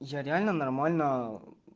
я реально нормально